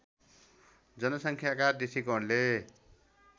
जनसङ्ख्याका दृष्टिकोणले